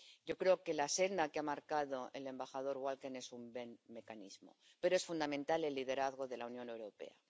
Yo creo que la senda que ha marcado el embajador Walker es un buen mecanismo, pero es fundamental el liderazgo de la Unión Europea.